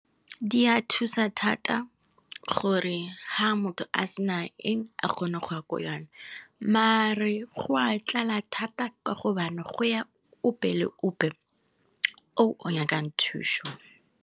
Di a thusa thata gore ha motho a sena eng a kgone go ya ko yona mare go a tlala thata ka gobane go ya ope le ope o nyakang thuso.